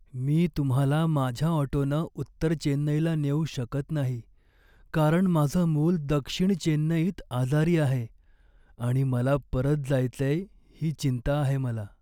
मी तुम्हाला माझ्या ऑटोनं उत्तर चेन्नईला नेऊ शकत नाही, कारण माझं मूल दक्षिण चेन्नईत आजारी आहे आणि मला परत जायचंय ही चिंता आहे मला.